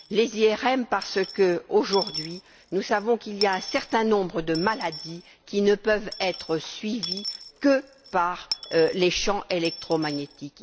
Les IRM, parce qu'aujourd'hui, nous savons qu'un certain nombre de maladies ne peuvent être suivies que par les champs électromagnétiques.